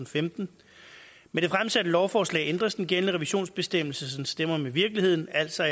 femten med det fremsatte lovforslag ændres den gældende revisionsbestemmelse så den stemmer overens med virkeligheden altså